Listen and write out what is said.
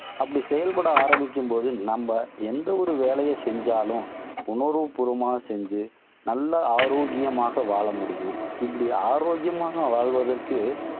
அப்படி செயல்பட ஆரம்பிக்கும்போது, நம்ம எந்த ஒரு வேலையை செஞ்சாலும், உணர்வுபூர்வமா செஞ்சு நல்ல ஆரோக்கியமாக வாழ முடியும். இப்படி ஆரோக்கியமாக வாழ்வதற்கு,